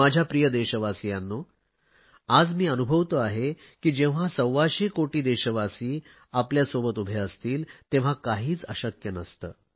माझ्या प्रिय देशवासियांनो आज मी अनुभवतो आहे की जेव्हा सव्वाशे कोटी देशवासी आपल्या सोबत उभे असतील तेव्हा काहीच अशक्य नसते